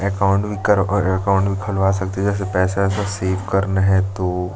account भी कर और अकाउंट भी खोला सकते है जैसे पैसा -वैसा सेव करना हो तो --